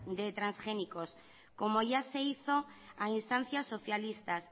de transgénicos como ya se hizo a instancias socialistas